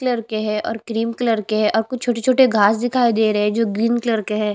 के है cream colour के है और कुछ छोटे-छोटे घास दिखाई दे रहे है जो ग्रीन कलर के है।